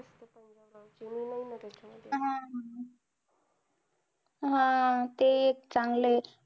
हा ते एक चांगलं आहे